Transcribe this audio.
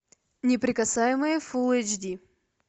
неприкасаемые фулл эйч ди